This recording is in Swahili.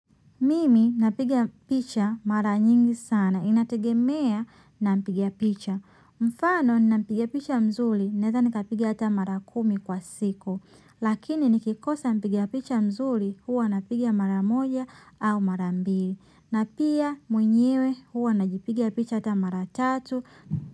Mimi napiga picha mara nyingi sana. Inategemea na mpiga picha. Mfano, ninapiga picha mzuri, naweza nikapiga hata mara kumi kwa siku. Lakini, nikikosa mpiga picha mzuri, huwa napiga mara moja au mara mbili. Na pia, mwenyewe, huwa najipiga picha hata mara tatu.